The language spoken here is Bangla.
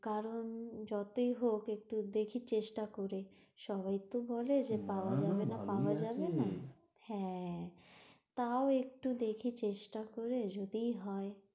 কারণ যতই হোক একটু দেখি চেষ্টা করে, সবাই তো বলে যে পাওয়া যাবে না পাওয়া যাবে না, হ্যাঁ তাও একটু দেখি চেষ্টা করে, যদিই হয়।